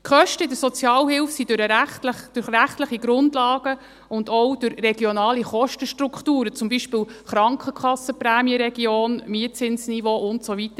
Die Kosten in der Sozialhilfe sind durch rechtliche Grundlagen bestimmt, und auch durch regionale Kostenstrukturen, zum Beispiel Krankenkassenprämienregion, Mietzinsniveau und so weiter.